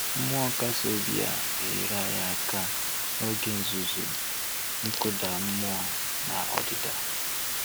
Mmụọ nkasi obi a na-enyere anyị aka n'oge nzuzu, nkụda mmụọ na ọdịda.